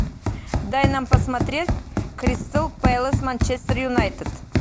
дай нам посмотреть кристал пэлас манчестер юнайтед